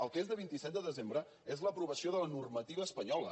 el que és del vint set de desembre és l’aprovació de la normativa espanyola